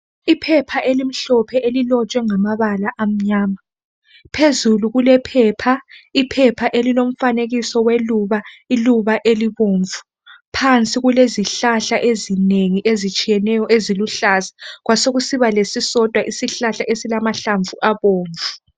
Iphepha elimhlophe elilotshwe ngamabala amnyama, phezulu kulephepha, iphepha elilomfanekiso weluba, iluba elibomvu, phansi kulezihlahla ezinengi ezitshiyeneyo eziluhlaza, kwasekusiba lesisodwa isihlahla esilamahlamvu abomvu.